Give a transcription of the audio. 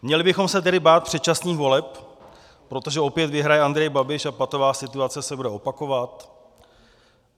Měli bychom se tedy bát předčasných voleb, protože opět vyhraje Andrej Babiš a patová situace se bude opakovat?